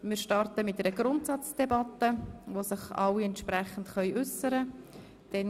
Wir werden mit einer Grundsatzdebatte starten, in der sich alle entsprechend äussern können.